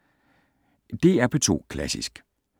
DR P2 Klassisk